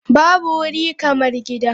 Babu wuri kamar gida.